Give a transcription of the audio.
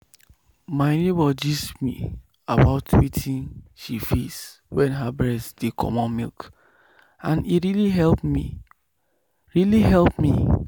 my neighbor gist me about wetin she face wen her breast dey comot milk and e really help me. really help me.